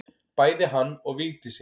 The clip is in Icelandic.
Bæði hann og Vigdísi.